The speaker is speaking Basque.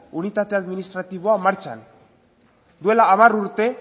unitate administratiboa martxan duela hamar urte